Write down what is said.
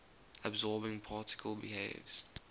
absorbing particle behaves